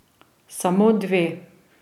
Samo dve.